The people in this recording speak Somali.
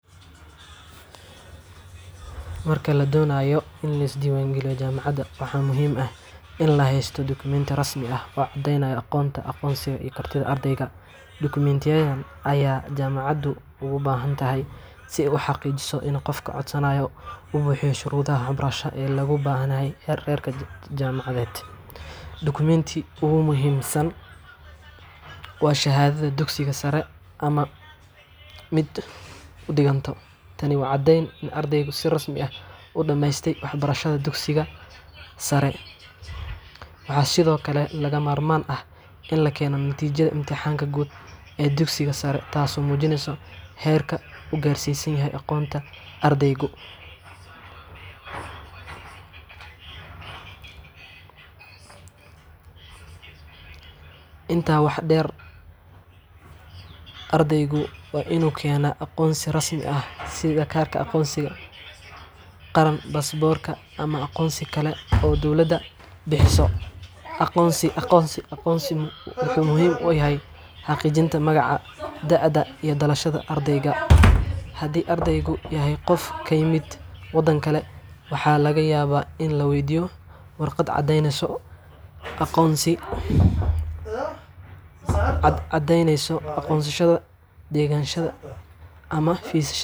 Marka la doonayo in la is diiwaangeliyo jaamacad, waxaa muhiim ah in la haysto dukumintiyo rasmi ah oo caddeynaya aqoonta, aqoonsiga, iyo kartida ardayga. Dukumintiyadan ayaa jaamacaddu uga baahan tahay si ay u xaqiijiso in qofka codsanaya uu buuxiyo shuruudaha waxbarasho ee looga baahan yahay heerka jaamacadeed. Dukumintiga ugu muhiimsan waa shahaadada dugsiga sare ama mid u dhiganta. Tani waa caddeynta in ardaygu si rasmi ah u dhammeystay waxbarashada dugsiga sare. Waxaa sidoo kale lagama maarmaan ah in la keeno natiijada imtixaanka guud ee dugsiga sare, taas oo muujinaysa heerka uu gaarsiisan yahay aqoonta deganshada fisid.